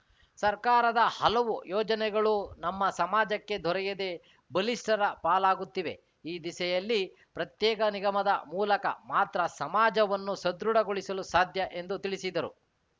ಸರ್ಕಾರದ ಹಲವು ಯೋಜನೆಗಳು ನಮ್ಮ ಸಮಾಜಕ್ಕೆ ದೊರೆಯದೆ ಬಲಿಷ್ಠರ ಪಾಲಾಗುತ್ತಿವೆ ಈ ದಿಸೆಯಲ್ಲಿ ಪ್ರತ್ಯೇಕ ನಿಗಮದ ಮೂಲಕ ಮಾತ್ರ ಸಮಾಜವನ್ನು ಸದೃಢಗೊಳಿಸಲು ಸಾಧ್ಯ ಎಂದು ತಿಳಿಸಿದರು